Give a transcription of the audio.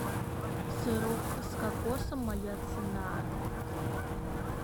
сырок с кокосом моя цена